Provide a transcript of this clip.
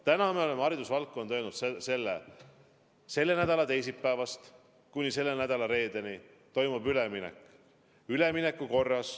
Täna me oleme haridusvaldkonnale öelnud: selle nädala teisipäevast kuni selle nädala reedeni toimub üleminek.